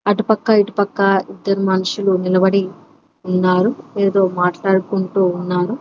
అటుపక్క ఇటుపక్క ఇద్దరు మనుషులు నిలబడి ఉన్నారు. ఏదో మాట్లాడుకుంటూ ఉన్నారు.